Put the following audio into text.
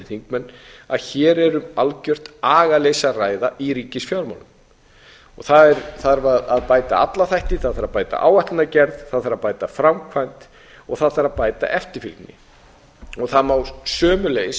þingmenn að hér er um algjört agaleysi að ræða í ríkisfjármálum það þarf að bæta alla þætti það þarf að bæta áætlanagerð það þarf að bæta framkvæmd og það þarf að bæta